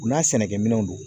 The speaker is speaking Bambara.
U n'a sɛnɛkɛ minɛnw don